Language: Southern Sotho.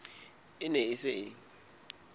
e ne e se e